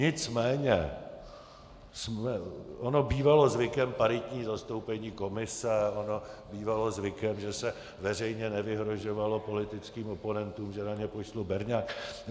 Nicméně ono bývalo zvykem paritní zastoupení komise, ono bývalo zvykem, že se veřejně nevyhrožovalo politickým oponentům, že na ně pošlu berňák.